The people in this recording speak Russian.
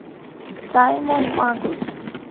саймон магус